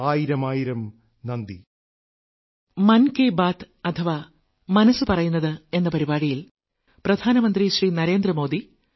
ആയിരമായിരം നന്ദി